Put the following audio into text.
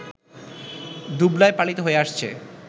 দুবলায় পালিত হয়ে আসছে